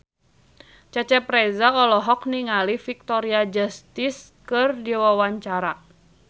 Cecep Reza olohok ningali Victoria Justice keur diwawancara